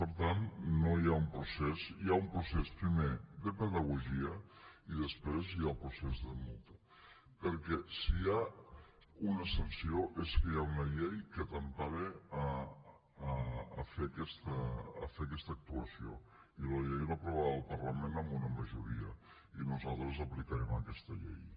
per tant hi ha un procés primer de pedagogia i després hi ha el procés de multa perquè si hi ha una sanció és que hi ha una llei que t’empara a fer aquesta actuació i la llei l’ha aprovada el parlament amb una majoria i nosaltres aplicarem aquesta llei